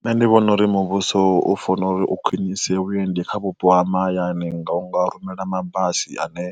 Nṋe ndi vhona uri muvhuso u founa uri u khwinisa vhuendi kha vhupo ha mahayani nga u nga rumela mabasi ane